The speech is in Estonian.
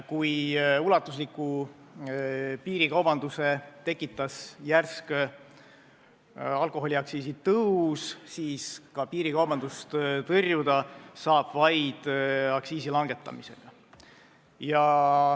Kui ulatusliku piirikaubanduse tekitas järsk alkoholiaktsiisi tõus, siis piirikaubandust tõrjuda saab vaid aktsiisi langetamisega.